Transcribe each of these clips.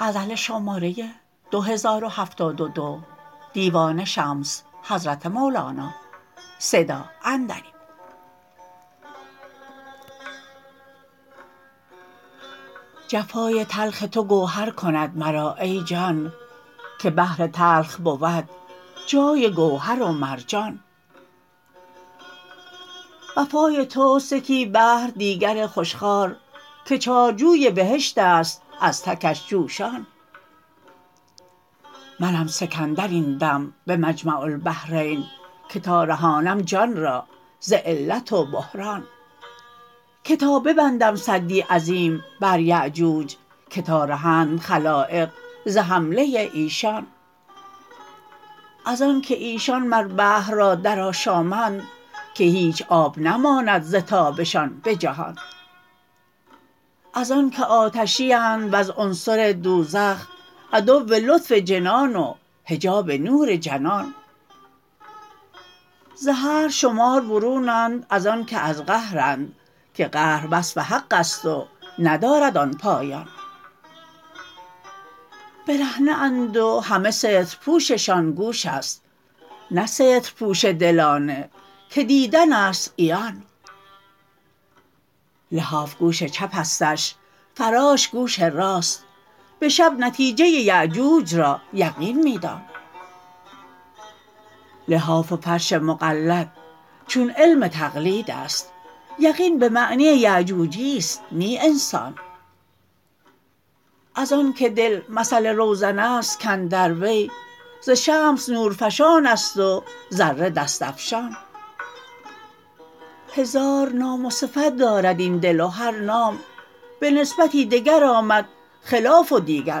جفای تلخ تو گوهر کند مرا ای جان که بحر تلخ بود جای گوهر و مرجان وفای توست یکی بحر دیگر خوش خوار که چارجوی بهشت است از تکش جوشان منم سکندر این دم به مجمع البحرین که تا رهانم جان را ز علت و بحران که تا ببندم سدی عظیم بر یأجوج که تا رهند خلایق ز حمله ایشان از آنک ایشان مر بحر را درآشامند که هیچ آب نماند ز تابشان به جهان از آنک آتشی اند وز عنصر دوزخ عدو لطف جنان و حجاب نور جنان ز هر شمار برونند از آنک از قهرند که قهر وصف حق است و ندارد آن پایان برهنه اند و همه سترپوششان گوش است نه سترپوش دلانه که دیدن است عیان لحاف گوش چپستش فراش گوش راست به شب نتیجه یأجوج را یقین می دان لحاف و فرش مقلد چون علم تقلید است یقین به معنی یأجوجی است نی انسان از آنک دل مثل روزن است کاندر وی ز شمس نورفشان است و ذره دست افشان هزار نام و صفت دارد این دل و هر نام به نسبتی دگر آمد خلاف و دیگر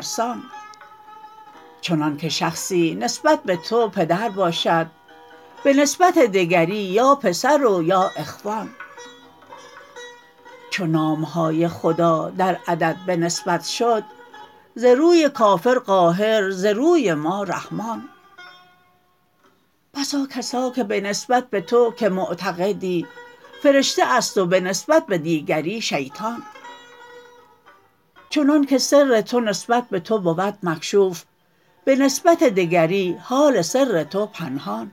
سان چنانک شخصی نسبت به تو پدر باشد به نسبت دگری یا پسر و یا اخوان چو نام های خدا در عدد به نسبت شد ز روی کافر قاهر ز روی ما رحمان بسا کسا که به نسبت به تو که معتقدی فرشته است و به نسبت به دیگری شیطان چنانک سر تو نسبت به تو بود مکشوف به نسبت دگری حال سر تو پنهان